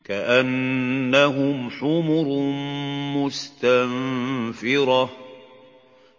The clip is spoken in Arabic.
كَأَنَّهُمْ حُمُرٌ مُّسْتَنفِرَةٌ